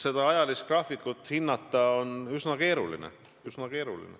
Seda hinnata on üsna keeruline.